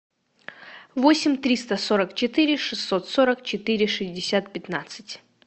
восемь триста сорок четыре шестьсот сорок четыре шестьдесят пятнадцать